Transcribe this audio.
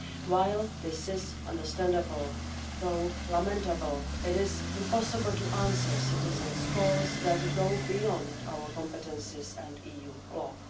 While this is understandable, though lamentable, it is impossible to answer citizens' calls that go beyond our competences and EU law.